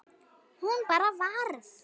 Hún bara varð.